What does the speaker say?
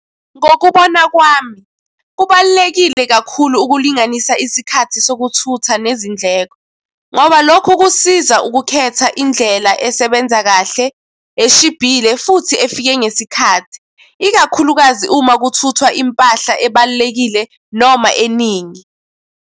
Ngokubona kwami, kubalulekile kakhulu ukulinganisa isikhathi sokuthutha nezindleko. Ngoba lokho kusiza ukukhetha indlela esebenza, kahle eshibhile, futhi efike ngesikhathi, ikakhulukazi uma kuthuthwa impahla ebalulekile noma eningi.